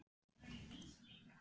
Sá rauðbirkni brosti út í annað.